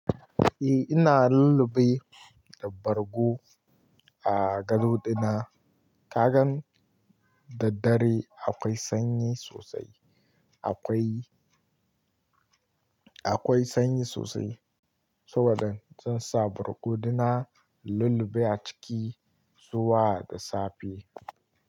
Eh ina lullube da bargo a gado dina. Kagan daddare akwai sanyi sosai, akwai, akwai sanyi sosai. Saboda zan sa bargo dina lullube a ciki zuwa da safe.